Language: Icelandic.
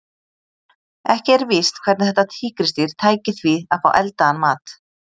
Ekki er víst hvernig þetta tígrisdýr tæki því að fá eldaðan mat.